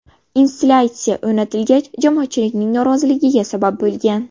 Installyatsiya o‘rnatilgach, jamoatchilikning noroziligiga sabab bo‘lgan.